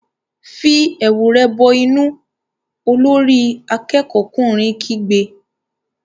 Fi ẹ̀wù rẹ bọ inú! Olórí akẹ́kọ̀ọ́'kùnrin kígbe.